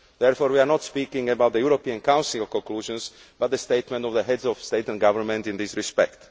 Therefore, we are not speaking about the European Council conclusions, but the statement of the Heads of State or Government, in this respect.